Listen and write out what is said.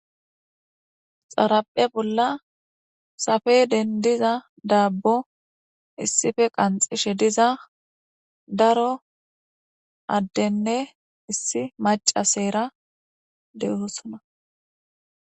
xarapphe bolla safeden diza daabbo issife qanxishe diza daro addenne issi maca seera dehosona